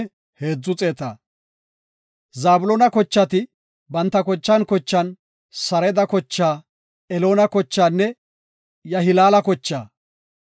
Zabloona kochati banta kochan kochan, Sareda kochaa, Eloona kochaanne Yahilaala kochaa.